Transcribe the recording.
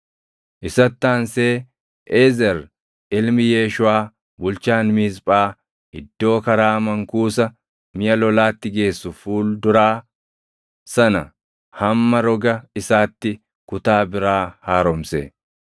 Isatti aansee Eezer ilmi Yeeshuʼaa bulchaan Miisphaa iddoo karaa mankuusa miʼa lolaatti geessu fuul duraa sana hamma roga isaatti kutaa biraa haaromse.